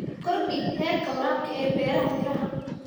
Kordhi heerka waraabka ee beeraha miraha.